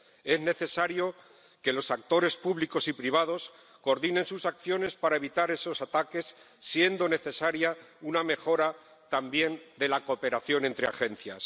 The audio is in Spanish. Es necesario que los actores públicos y privados coordinen sus acciones para evitar esos ataques y es necesaria también una mejora de la cooperación entre agencias.